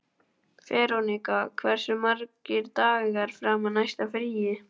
Veronika, hversu margir dagar fram að næsta fríi?